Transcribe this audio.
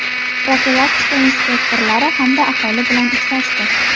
profilaktika inspektorlari hamda aholi bilan uchrashdi.